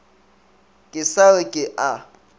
ke sa re ke a